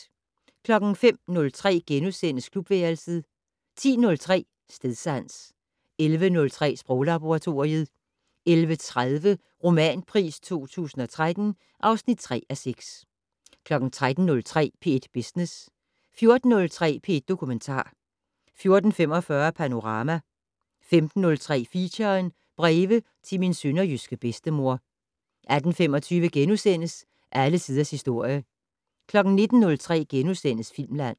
05:03: Klubværelset * 10:03: Stedsans 11:03: Sproglaboratoriet 11:30: Romanpris 2013 (3:6) 13:03: P1 Business 14:03: P1 Dokumentar 14:45: Panorama 15:03: Feature: Breve til min sønderjyske bedstemor 18:25: Alle tiders historie * 19:03: Filmland *